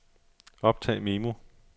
optag memo